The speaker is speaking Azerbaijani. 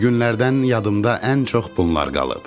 O günlərdən yadımda ən çox bunlar qalıb.